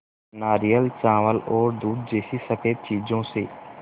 नारियल चावल और दूध जैसी स़फेद चीज़ों से